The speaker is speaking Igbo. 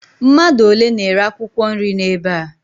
Mmadụ ole na-ere akwụkwọ nri n'ebe a?